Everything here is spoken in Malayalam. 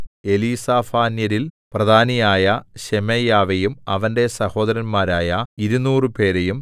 എലീസാഫാന്യരിൽ പ്രധാനിയായ ശെമയ്യാവെയും അവന്റെ സഹോദരന്മാരായ ഇരുനൂറുപേരെയും 200